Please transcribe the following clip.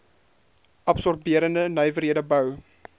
absorberende nywerhede bou